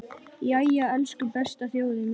Jæja, elsku besta þjóðin mín!